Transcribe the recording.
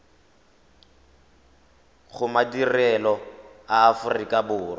go madirelo a aforika borwa